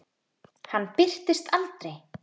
Hann birtist aldrei.